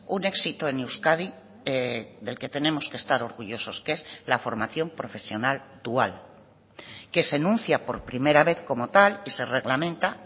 un éxito en euskadi del que tenemos que estar orgullosos que es la formación profesional dual que se enuncia por primera vez como tal y se reglamenta